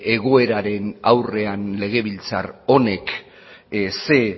egoeraren aurrean legebiltzar honek zein